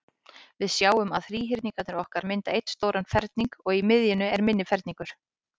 Við sjáum að þríhyrningarnir okkar mynda einn stóran ferning, og í miðjunni er minni ferningur.